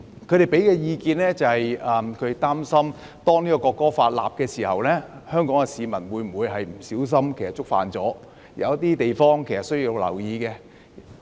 有議員表示擔心制定《條例草案》後，香港市民會不小心觸犯法例，並指出有些地方是需要留意的。